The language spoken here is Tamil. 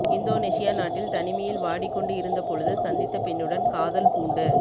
இந்தோனேசியா நாட்டில் தனிமையில் வாடிக்கொண்டு இருந்த பொழுது சந்தித்த பெண்ணுடன் காதல் பூண்டு